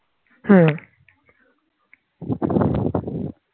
হ্যাঁ